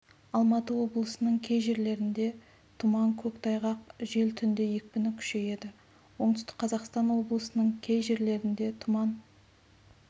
алматы облысының кей жерлерінде тұман көктайғақ жел түнде екпіні күшейеді оңтүстік қазақстан облысының кей жерлерінде тұман